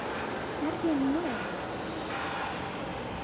Er ég nóg!